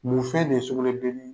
Mun fɛn de ye sugunɛbileni ye?